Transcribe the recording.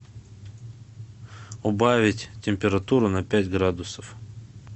убавить температуру на пять градусов